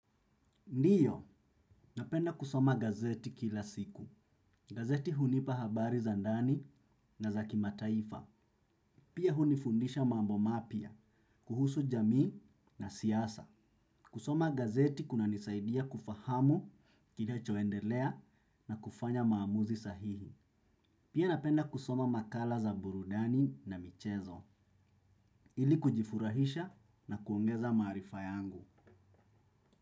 Ndiyo, napenda kusoma gazeti kila siku. Gazeti hunipa habari za ndani na za kimataifa. Pia hunifundisha mambo mapya, kuhusu jamii na siasa. Kusoma gazeti kunanisaidia kufahamu kile kinachoendelea na kufanya maamuzi sahihi. Pia napenda kusoma makala za burudani na michezo. Ili kujifurahisha na kuongeza maarifa yangu.